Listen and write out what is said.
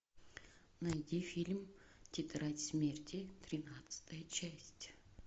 найди фильм тетрадь смерти тринадцатая часть